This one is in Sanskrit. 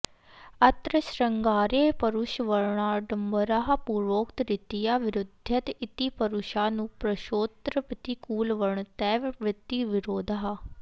अत्र शृङ्गारे परुषवर्णाडम्बरः पूर्वोक्तरीत्या विरुध्यत इति परुषानुप्रासोऽत्र प्रतिकूलवर्णतैव वृत्तिविरोधः